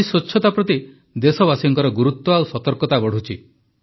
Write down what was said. ଆଜି ସ୍ୱଚ୍ଛତା ପ୍ରତି ଦେଶବାସୀଙ୍କର ଗୁରୁତ୍ୱ ଓ ସତର୍କତା ବଢ଼ୁଛି